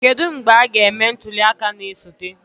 Kedu mgbe a ga-eme ntuli aka na-esote?